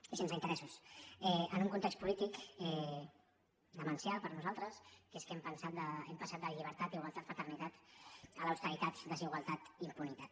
i sense interessos en un context polític demencial per nosaltres que és que hem passat de la llibertat igualtat fraternitat a l’austeritat desigualtat impunitat